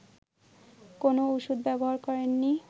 কোনো ওষুধ ব্যবহার করেননি